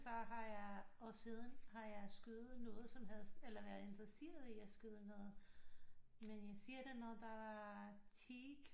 Før har jeg og siden har jeg skudt noget som helst eller været interesseret i at skyde noget men